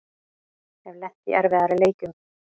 Hef lent í erfiðari leikjum